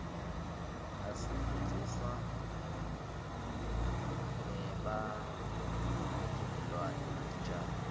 isfundzisa ngebantfutilwane netitjalo